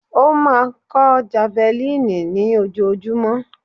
Ó máa kọ́ javelin ní ojoojúmọ́.